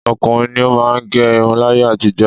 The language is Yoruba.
Ọkùnrin ni ó máà ń gẹ irun láyé àtijọ́.